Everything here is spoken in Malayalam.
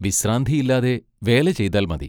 വിശ്രാന്തിയില്ലാതെ വേല ചെയ്താൽ മതി.